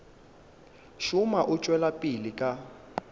šoma o tšwela pele ka